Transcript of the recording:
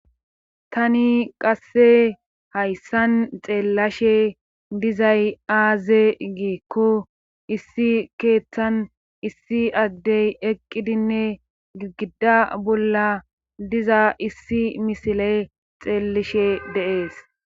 Tani qasse hayssan xeellashe dizay aaze giikko issi keeththan issi addey eqqidinne gigida bolla diza issi misile xeellishe deees.